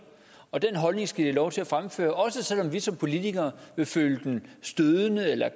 og den holdning skal de have lov til at fremføre også selv om vi som politikere vil føle den stødende